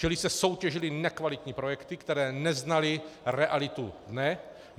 Čili se soutěžily nekvalitní projekty, které neznaly realitu dne.